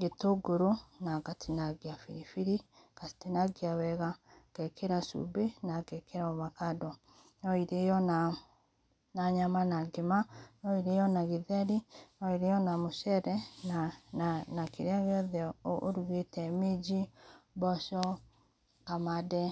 gĩtũngũrũ na ngatinagĩa bĩrĩbĩrĩ ngatinagĩa wega ngekera cube na ngekera ovacado no ĩrĩo na nyama na ngĩma nũ ĩrĩo na gĩtherĩ nũ ĩrĩo na mũcere na na kĩrĩa gĩothe ũrũgũte mĩnjĩ, mboco, kamande.